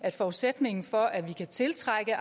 at forudsætningen for at vi kan tiltrække